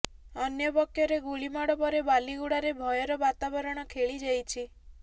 ଅନ୍ୟପକ୍ଷରେ ଗୁଳିମାଡ଼ ପରେ ବାଲିଗୁଡାରେ ଭୟର ବାତାବରଣ ଖେଳି ଯାଇଛି